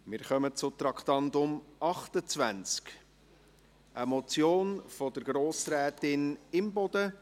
Wir kommen zum Traktandum 28, einer Motion von Grossrätin Imboden: